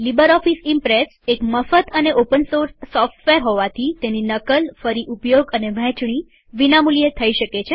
LibreOffice Impress એક મફત અને ઓપન સોર્સ સોફ્ટવેર હોવાથી તેની નકલફરી ઉપયોગ અને વહેચણી વિના મુલ્યે થઇ શકે છે